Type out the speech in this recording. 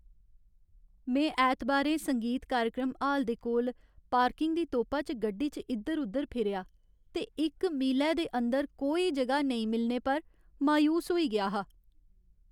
में ऐतबारें संगीत कार्यक्रम हाल दे कोल पार्किंग दी तोपा च गड्डी च इद्धर उद्धर फिरेआ ते इक मीलै दे अंदर कोई जगह नेईं मिलने पर मायूस होई गेआ हा।